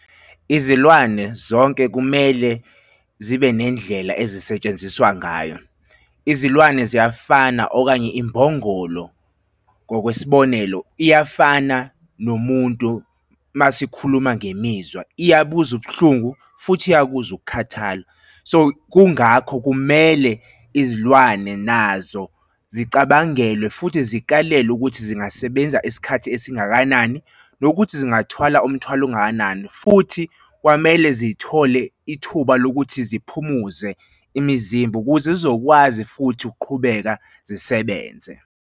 Izilwane zonke kumele zibe nendlela ezisetshenziswa ngayo. Izilwane ziyafana okanye imbongolo, ngokwesibonelo iyafana nomuntu uma sikhuluma ngemizwa, iyabuzwa ubuhlungu, futhi iyabuzwa ukukhathala. So kungakho kumele izilwane nazo zicabangelwe futhi zikalelwe ukuthi zingasebenza isikhathi esingakanani, nokuthi zingathwala umthwalo ongakanani? Futhi kwamele zithole ithuba lokuthi ziphumuze imizimba ukuze zizokwazi futhi ukuqhubeka zisebenze.